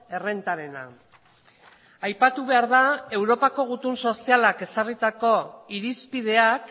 errentarena aipatu behar da europako gutun sozialak ezarritako irizpideak